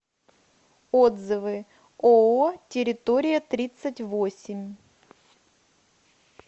отзывы ооо территория тридцать восемь